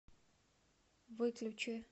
выключи